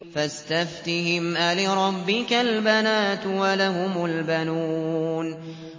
فَاسْتَفْتِهِمْ أَلِرَبِّكَ الْبَنَاتُ وَلَهُمُ الْبَنُونَ